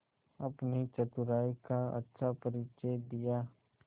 अपनी चतुराई का अच्छा परिचय दिया